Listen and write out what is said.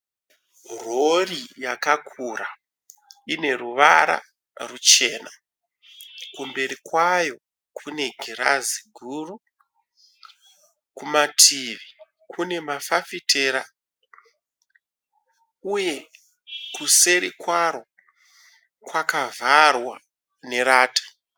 Rori yakakura ine ruvara ruchena . Kumberi kwayo kune girazi guru. Kumativi kune mafafitera uye kuseri kwaro kwakavharwa nerata.